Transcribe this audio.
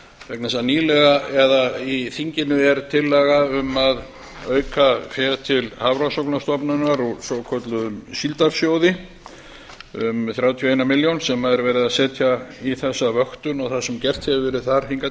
vegna þess að nýlega eða í þinginu er tillaga um að auka fé til hafrannsóknastofnunar úr svokölluðum síldarsjóði um þrjátíu og ein milljón sem er verið að setja í þessa vöktun og það sem gert hefur verið hingað